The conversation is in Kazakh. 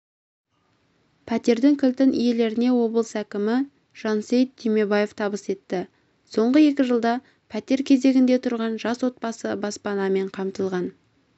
пәтердің кілтін иелеріне облыс әкімі жансейіт түймебаев табыс етті соңғы екі жылда пәтер кезегінде тұрған жас отбасы баспанамен қамтылған